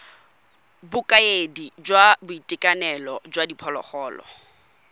bokaedi jwa boitekanelo jwa diphologolo